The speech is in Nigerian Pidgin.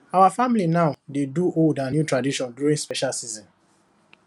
our family now dey do old and new tradition during special season